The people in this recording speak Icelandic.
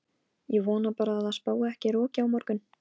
Ég vona bara að það spái ekki roki á morgun.